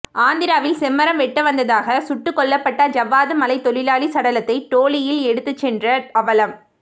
ஆந்திராவில் செம்மரம் வெட்ட வந்ததாக சுட்டுக்கொல்லப்பட்ட ஜவ்வாது மலை தொழிலாளி சடலத்தை டோலியில் எடுத்துச் சென்ற அவலம்